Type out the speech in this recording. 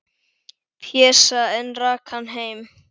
Pésa, en rak hann heim.